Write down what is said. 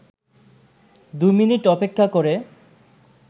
২ minute অপেক্ষা করে